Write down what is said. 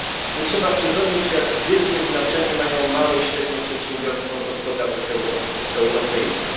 Nie trzeba przypominać, jak wielkie znaczenie mają małe i średnie przedsiębiorstwa w gospodarce europejskiej.